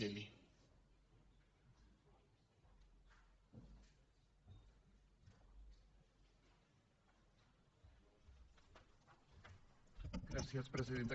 gràcies presidenta